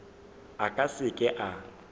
a ka se ke a